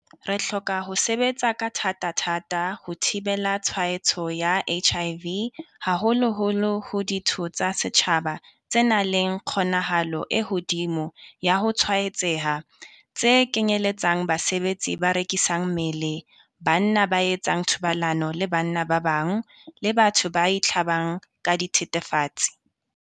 Re hloka ho sebetsa ka thatathata ho thibela tshwaetso ya HIV haholoholo ho ditho tsa setjhaba tse nang le kgonahalo e hodimo ya ho tshwaetseha, tse kenyeletsang basebetsi ba rekisang mmele, banna ba etsang thobalano le banna ba bang, le batho ba itlhabang ka dithethefatsi.